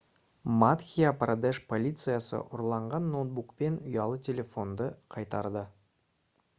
мадхья-прадеш полициясы ұрланған ноутбук пен ұялы телефонды қайтарды